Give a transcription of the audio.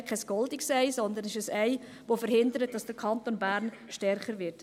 Leider ist es kein goldenes Ei, sondern ein Ei, das verhindert, dass der Kanton Bern stärker wird.